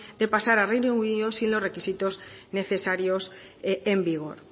de pasar al reino unido sin los requisitos necesarios en vigor